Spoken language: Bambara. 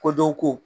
Ko dɔ ko